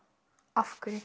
af hverju